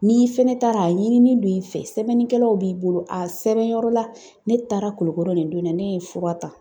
N'i fɛnɛ taara a ɲini ni don i fɛ, sɛbɛnnikɛlaw b'i bolo, a sɛbɛnyɔrɔ la ne taara Kulikɔrɔ nin don in na, ne ye fura ta.